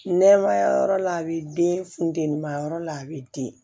Nɛmaya yɔrɔ la a bi den funtenima yɔrɔ la a be den